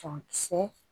Sɔn kisɛ